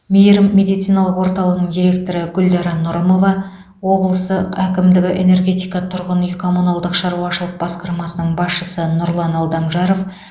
мейірім медициналық орталығының директоры гүлдара нұрымова облысы әкімдігінің энергетика тұрғын үй коммуналдық шаруашылық басқармасының басшысы нұрлан алдамжаров